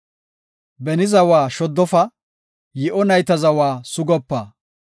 Beni zawa shoddofa; yi7o nayta zawa sugopa.